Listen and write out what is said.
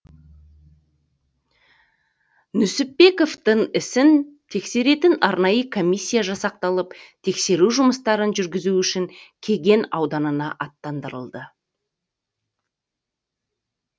нүсіпбековтің ісін тексеретін арнайы комиссия жасақталып тексеру жұмыстарын жүргізу үшін кеген ауданына аттандырылды